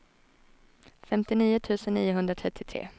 femtionio tusen niohundratrettiotre